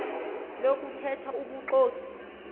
lokuthe tha ubuxoki